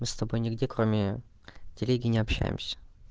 мы с тобой нигде кроме телеги не общаемся